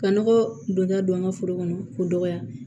Ka nɔgɔ donya don an ka foro kɔnɔ k'o dɔgɔya